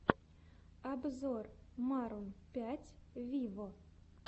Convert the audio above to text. обзор марун пять виво